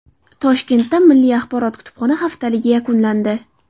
Toshkentda milliy axborot-kutubxona haftaligi yakunlandi.